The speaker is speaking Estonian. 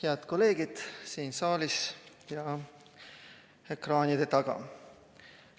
Head kolleegid siin saalis ja ekraanide taga!